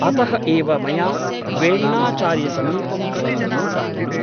अतः एव मया वेण्णाचार्यसमीपं त्वं नीता ननु ?